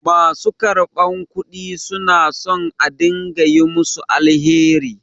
Ma su karɓar kudi su na son a dinga yi musu alheri.